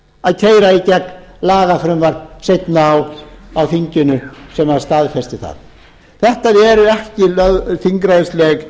að keyra í gegn lagafrumvarp seinna á þinginu sem staðfesti það þetta eru ekki þingræðisleg